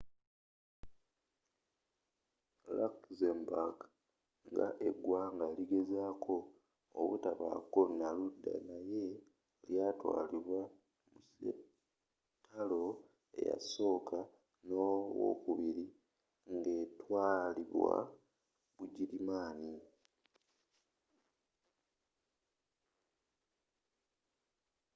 luxembourg nga eggwanga ligezezaako obutabaako na ludda naye lyaatwalibwa mu sseatalo eyasooka n'owookubiri ng'etwaalibwa bugirimaani